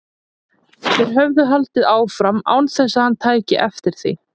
Þeir höfðu haldið áfram án þess að hann tæki eftir því.